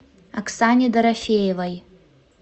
оксане дорофеевой